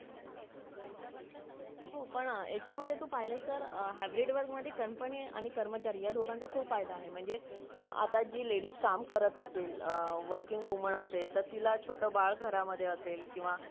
राजकारण का करावे आणि कसं करावे याचा वस्तु पाठ समर्थाने घालून दिला आहे कोप अकरावे पायस अठराशे सत्तावन आणि एकोणीशे एकोणचाळीस